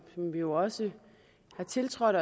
vi jo også har tiltrådt